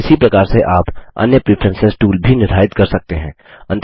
इसी प्रकार से आप अन्य प्रेफरेंस टूल भी निर्धारित कर सकते हैं